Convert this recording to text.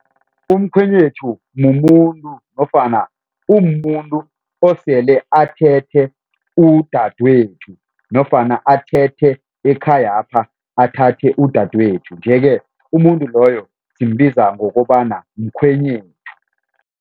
Umkhwenyethu mumuntu nofana umuntu osele athethe udadwethu nofana athethe ekhayapha athathe udadwethu nje-ke umuntu loyo simbiza ngokobana mkhwenyethu.